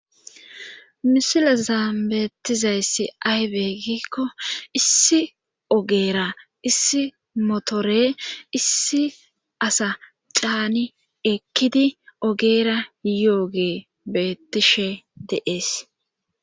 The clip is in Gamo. misilezan beettizayssi aybeegikko issi ogeera issi motore issi asa caani ekkidi ogeera yoogee bettishe de'es